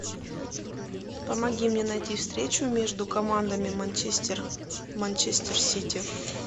помоги мне найти встречу между командами манчестер манчестер сити